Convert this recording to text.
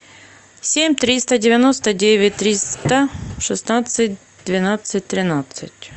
семь триста девяносто девять триста шестнадцать двенадцать тринадцать